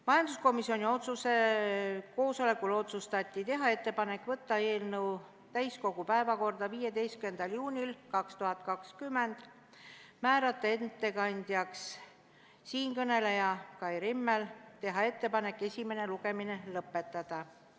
Majanduskomisjoni koosolekul otsustati teha ettepanek võtta eelnõu täiskogu päevakorda 15. juunil 2020, määrata ettekandjaks siinkõneleja Kai Rimmel ja teha ettepanek esimene lugemine lõpetada.